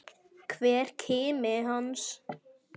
Hver kimi hans.